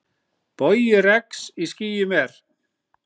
Bogi regns í skýjum er.